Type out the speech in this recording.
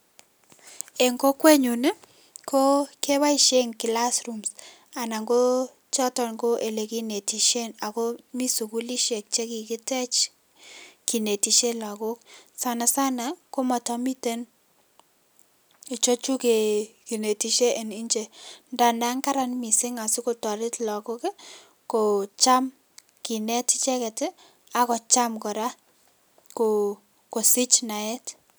En kokwenyun ko keboishen class rooms anan ko choton ko elekinetishen anan ko mii sukulishek chekikitech kinetishen lokok, sana sana komotomiten ichechu kinetishe en nje ndandan karan mising asikotoret lokok kocham kineet icheket akocham kora kosich naet.